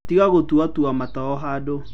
Tiga gũtua tua mata o handũ.